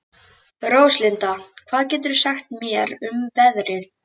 Róslinda, hvað geturðu sagt mér um veðrið?